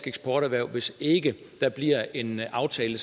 eksporterhverv hvis ikke der bliver en aftale